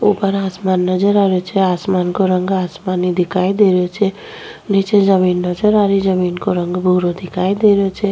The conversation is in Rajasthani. उपर आसमान नजर आ रियो छे आसमान का रंग आसमानी दिखाई दे रहियो छे नीचे जमीन नजर आ रही जमीन को रंग भुरो दिखाई दे रियो छे।